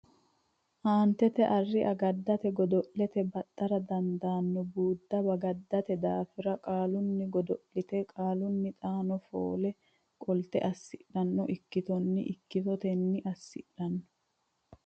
Aantete Arri agaddate God lete baxxara dandaanno buudda bagaddate daafira qaalunni godo linannita qaalunni xaano foole qo lite assidhanno ikkitonnita ikkitotenni assidhanno.